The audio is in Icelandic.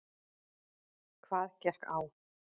Hvað gekk á?